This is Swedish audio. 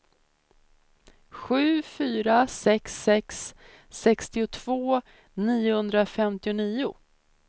sju fyra sex sex sextiotvå niohundrafemtionio